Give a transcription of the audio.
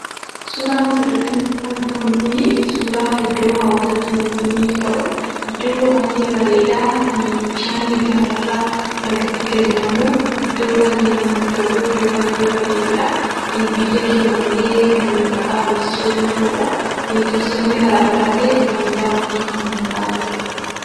Suuraan asirratti argamu kunii suuraa iddoo hawwata turiizimiif ta'u, iddoo baay'ee bareedaa, kan bishaanni gaararraa lagatti gadi nammu, iddoo baay'ee namatti tolu, iddoo baay'ee bareeduu dha. Biyya keenya illee kan maqaa dhoofsisuu danda'uu dha. Tuuristoonni garaagaraa illee dhufanii daawwachuu kan danda'anii dha.